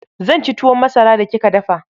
Zan ci tuwon masara da kika dafa.